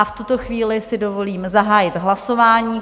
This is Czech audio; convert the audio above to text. A v tuto chvíli si dovolím zahájit hlasování.